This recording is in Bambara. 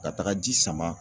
Ka taga ji sama